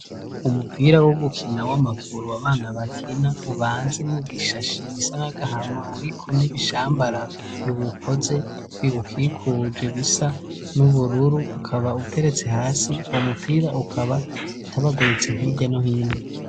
umupira wo gukina w'amaguru abana bakina ubanze mu bishashi bisa nagahama ariko n'ibishambara biwukoze biwukikuje bisa n'ubururu ukaba uteretse hasi uwo mupira ukaba utabaguritse hirya no hino